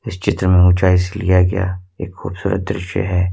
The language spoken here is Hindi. इस चित्र में ऊंचाई से लिया गया एक खूबसूरत दृश्य है।